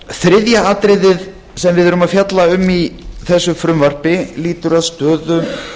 þriðja atriðið sem við erum að fjalla um í þessu frumvarpi lýtur að stöðu